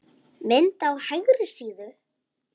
Mynd á hægri síðu.